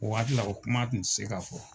O waatila, o kuma kun te se ka fɔ.